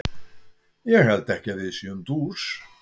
Ég held ekki að við séum dús.